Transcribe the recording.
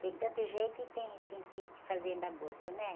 Tem tanto jeito e tem, tem que, que ir fazendo aborto, né?